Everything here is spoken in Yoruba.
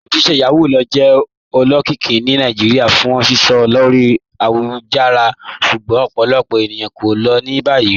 Ojíṣẹ̀ Yahoo lo jẹ́ olókìíkí ní Naijíríà fún sísọ̀ lórí ayélujára, ṣùgbọ́n ọ̀pọ̀lọpọ̀ ènìyàn ko ló ni báyì."